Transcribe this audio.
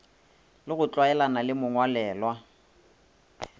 le go tlwaelana le mongwalelwa